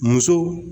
Muso